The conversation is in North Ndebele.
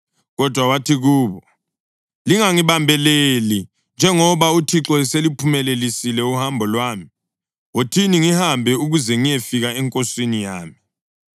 Kodwa wathi kubo, “Lingangibambeleli, njengoba uThixo eseluphumelelisile uhambo lwami. Wothini ngihambe ukuze ngiyefika enkosini yami.”